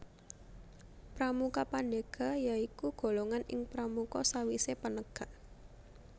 Pramuka Pandega ya iku golongan ing pramuka sawisé penegak